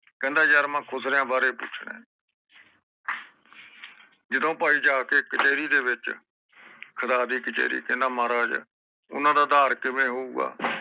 ਕਹਿੰਦਾ ਯਾਰ ਮੈਂ ਖੁਸਰਿਆਂ ਬਾਰੇ ਪੁੱਛਣਾ ਏ ਜਦੋ ਭਾਈ ਜਾਕੇ ਕਚੈਰੀ ਦੇ ਵਿਚ ਖੁਦਾ ਦੀ ਕਚੈਰੀ ਕਹਿੰਦਾ ਮਹਾਰਾਜ ਓਹਨਾ ਦਾ ਆਧਾਰ ਕਿਵੇਂ ਹੋਏਗਾ